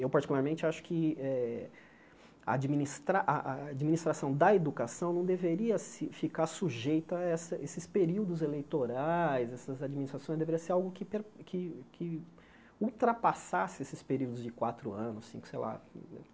Eu, particularmente, acho que eh admnistrar a a administração da educação não deveria se ficar sujeita a esses períodos eleitorais, essas administrações, deveria ser algo que per que que ultrapassasse esses períodos de quatro anos, cinco, sei lá.